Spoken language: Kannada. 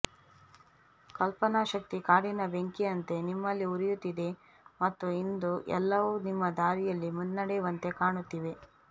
ಕಲ್ಪನಾಶಕ್ತಿ ಕಾಡಿನ ಬೆಂಕಿಯಂತೆ ನಿಮ್ಮಲ್ಲಿ ಉರಿಯುತ್ತಿದೆ ಮತ್ತು ಇಂದು ಎಲ್ಲವೂ ನಿಮ್ಮ ದಾರಿಯಲ್ಲಿ ಮುನ್ನಡೆಯುವಂತೆ ಕಾಣುತ್ತಿವೆ